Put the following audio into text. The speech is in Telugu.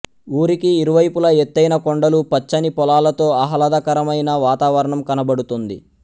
ఊరికి ఇరువైపుల ఎతైన కొండలు పచ్చని పొలాలతో ఆహ్లాదకరమైన వాతావరణం కనబడుతుంది